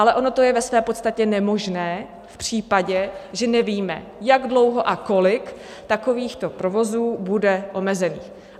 Ale ono to je ve své podstatě nemožné v případě, že nevíme, jak dlouho a kolik takovýchto provozů bude omezených.